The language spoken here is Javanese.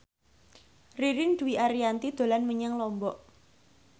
Ririn Dwi Ariyanti dolan menyang Lombok